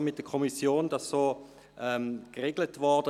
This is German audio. Dies ist mit der Kommission so geregelt worden.